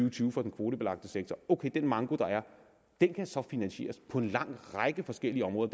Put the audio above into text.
og tyve for den kvotebelagte sektor ok den manko der er kan så finansieres på en lang række forskellige områder